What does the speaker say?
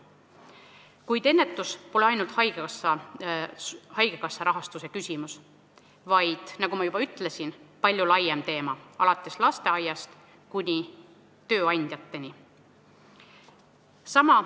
Kuid ennetus pole ainult haigekassa rahastuse küsimus, vaid nagu ma juba ütlesin, see on palju laiem teema, mis ulatub lasteaiast kuni tööandjateni.